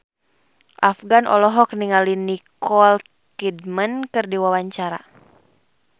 Afgan olohok ningali Nicole Kidman keur diwawancara